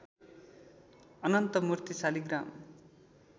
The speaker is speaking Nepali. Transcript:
अनन्त मूर्ति शालिग्राम